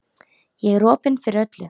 Ég er opin fyrir öllu.